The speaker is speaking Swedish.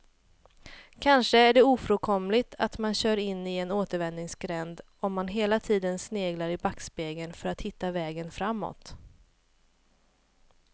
Kanske är det ofrånkomligt att man kör in i en återvändsgränd om man hela tiden sneglar i backspegeln för att hitta vägen framåt.